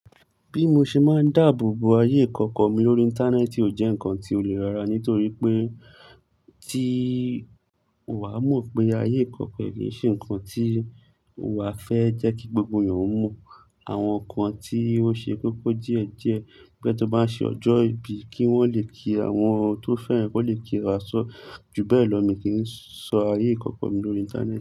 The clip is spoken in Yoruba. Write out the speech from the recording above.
Bí mo ṣe máa ń dáàbò bo ayé ìkọ́kọ mi lórí Íńtánẹ́ẹ̀tì ò jẹ́ nǹkan tí ó lè rára nítorí pé tí wàá mọ̀ pé ayé ìkọ́kọ pẹ̀lú ì ṣe ǹkan tí wà á fẹ́ jẹ́ kí gbogbo èèyàn mọ̀. Àwọn ǹkan tí ó ṣe kókó díẹ̀ díẹ̀ bẹ́ tó bá ń ṣe ọjọ́ ìbí kí wọ́n lè kí àwọn tó fẹ́rẹ̀ ẹ́ kó lè kí wọn àsọ́. Júbẹ̀lọ̀ mi kì í sọ ayé ìkọ́kọ mi lórí Íńtánẹ́ẹ̀tì.